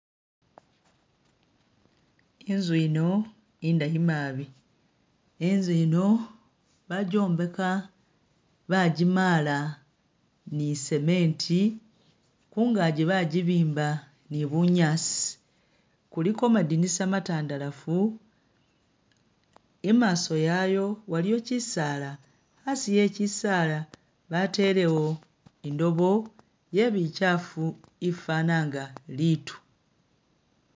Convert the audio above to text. Inzu yino indayi nabi ,inzu yino bajjombeka bajimala ni cement ,khungaaji bajibimba ni bunyaasi, kuliko madinisa matandalafu ,imaaso yayo waliyo kyisaala, asi e'kyisaala batelewo indoobo ye bikyafu ifana nga biitu